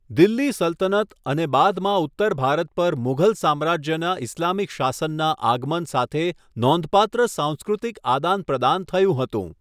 દિલ્હી સલ્તનત અને બાદમાં ઉત્તર ભારત પર મુઘલ સામ્રાજ્યના ઈસ્લામિક શાસનનાં આગમન સાથે નોંધપાત્ર સાંસ્કૃતિક આદાનપ્રદાન થયું હતું.